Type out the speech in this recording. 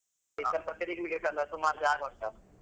ಚಿಕ್ಕಮಕ್ಕಳಿಗೆ ಬೇಕಾದ ಸುಮಾರ್ ಜಾಗ ಉಂಟಲ್ಲಾ.